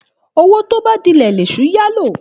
Òwó tóbà dílè lẹsú yà ló.